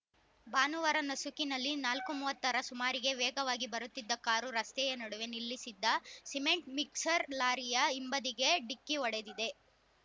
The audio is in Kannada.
ಭಾನುವಾರ ನಸುಕಿನಲ್ಲಿ ನಾಲ್ಕು ಮೂವತ್ತರ ಸುಮಾರಿಗೆ ವೇಗವಾಗಿ ಬರುತ್ತಿದ್ದ ಕಾರು ರಸ್ತೆಯ ನಡುವೆ ನಿಲ್ಲಿಸಿದ್ದ ಸಿಮೆಂಟ್‌ ಮಿಕ್ಸರ್‌ ಲಾರಿಯ ಹಿಂಬದಿಗೆ ಡಿಕ್ಕಿ ಹೊಡೆದಿದೆ